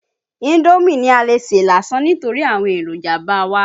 Indómì ni a lè sè lásán nítórí àwọn èròjà ba wá.